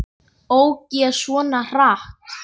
Ók ég svona hratt?